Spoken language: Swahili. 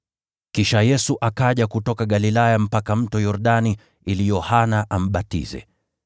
Kisha Yesu akaja kutoka Galilaya mpaka Mto Yordani ili Yohana ambatize.